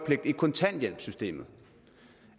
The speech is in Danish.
syg